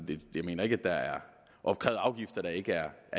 jeg mener ikke at der er opkrævet afgifter der ikke er